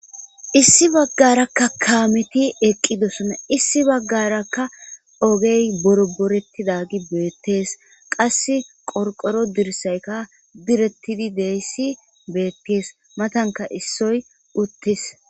Issi baggarakka kaameti eqqidosona. Issi baggarakka ogee borborettidagi beettees. qassi qoriqoro dirsayikka direttidi de'is beettees matanikka issoy uttis.